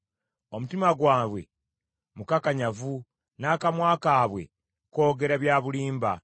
Omutima gwabwe mukakanyavu, n’akamwa kaabwe koogera by’amalala.